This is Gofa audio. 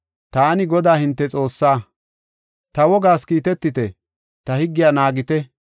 Taani Godaa hinte Xoossaa. Ta wogaas kiitetite; ta higgiya naagite.